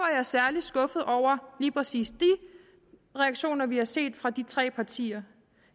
jeg særlig skuffet over lige præcis de reaktioner vi har set fra de tre partier